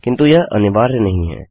किन्तु यह अनिवार्य नहीं है